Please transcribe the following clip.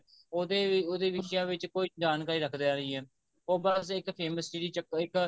ਉਹਦੇ ਵਿਸਿਆਂ ਵਿੱਚ ਕੋਈ ਜਾਣਕਾਰੀ ਰੱਖਦਾ ਨਹੀਂ ਐ ਉਹ ਬੱਸ ਇੱਕ famous ਦੇ ਚੱਕਰ ਵਿੱਚ ਇੱਕ